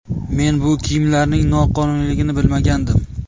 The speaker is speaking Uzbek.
Men bu kiyimlarning noqonuniyligini bilmagandim.